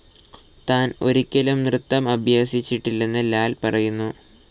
താൻ ഒരിക്കലും നൃത്തം അഭ്യസിച്ചിട്ടില്ലെന്ന് ലാൽ പറയുന്നു.